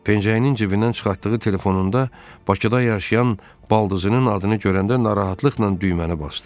Pençeyinin cibindən çıxartdığı telefonunda Bakıda yaşayan baldızının adını görəndə narahatlıqla düyməni basdı.